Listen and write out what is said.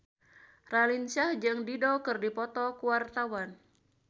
Raline Shah jeung Dido keur dipoto ku wartawan